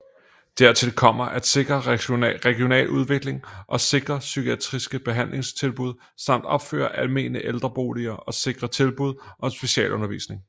Dertil kommer at sikre regional udvikling og sikre psykiatriske behandlingstilbud samt opføre almene ældreboliger og sikre tilbud om specialundervisning